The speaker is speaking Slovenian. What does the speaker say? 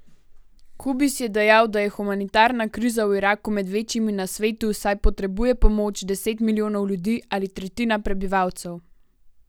Kubis je dejal, da je humanitarna kriza v Iraku med večjimi na svetu, saj potrebuje pomoč deset milijonov ljudi ali tretjina prebivalcev.